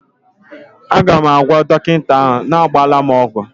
Aga m agwa dọkịta ahụ, agbala m ọgwụ!